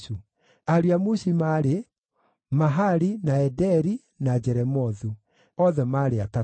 Ariũ a Mushi maarĩ: Mahali, na Ederi, na Jeremothu; othe maarĩ atatũ.